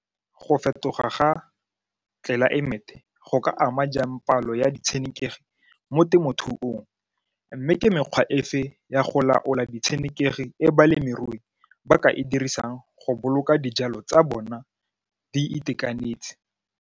Go fetoga ga tlelaemete go ka ama jang palo ya ditshenekegi mo temothuong mme ke mekgwa efe ya go laola ditshenekegi e balemirui ba ka e dirisang go boloka dijalo tsa bona di itekanetse?